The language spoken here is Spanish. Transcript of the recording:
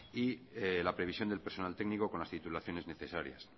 y la previsión del personal técnico con las titulaciones necesarias